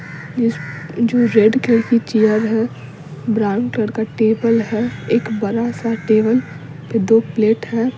इस जो red colour की चेयर है ब्राउन कलर का टेबल है एक बड़ा सा टेबल पे दो प्लेट है।